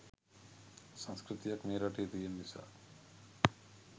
සංස්කෘතියක් මේ රටේ තියන නිසා.